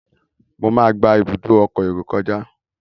Mọ má gbà Ibùdó ọkọ̀ èrò kọjá.